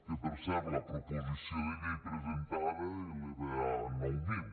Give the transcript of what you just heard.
que per cert la proposició de llei presentada eleva a nou mil